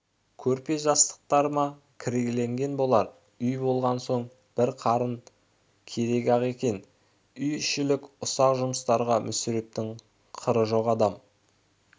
көрпе-жастықтар да кірлеген болар үй болған соң бір қатын керек-ақ екен үй-ішілік ұсақ жұмыстарға мүсірептің қыры жоқ адам